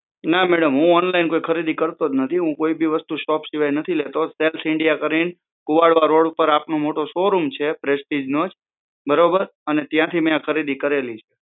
ના મેડમ હું ઓનલાઇન કોઈ ખરીદી કરતો જ નથી હુ કોઈબી વસ્તુ શોપ સિવાય નથી લેતો સેલ્સ ઇન્ડિયા કરીને કુવાડા ઉપર આપનો મોટો શોરૂમ છે પ્રેસ્ટીજ નો જ બરોબર અને ત્યાંથી મે આ ખરીદી કરેલી છે